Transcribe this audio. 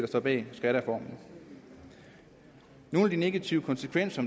står bag skattereformen nogle af de negative konsekvenser